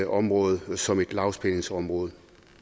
området som et lavspændingsområde